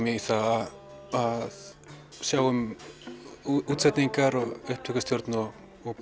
í það að sjá um útsetningar og upptökustjórn og